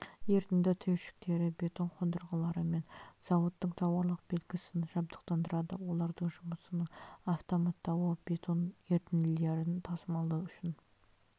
ерітінді түйіршіктері бетон қондырғылары мен зауыттық тауарлық белгісін жарықтандырады олардың жұмысының автоматтауы бетон ерітінділерін тасымалдау үшін